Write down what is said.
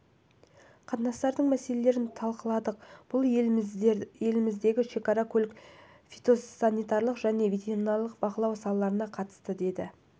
қатынастардың мәселелерін талқыладық бұл елдеріміздің шекара көлік фитосанитарлық және ветеринарлық бақылау салаларына қатысты деді